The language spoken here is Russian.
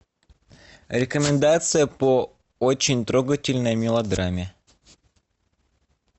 рекомендация по очень трогательной мелодраме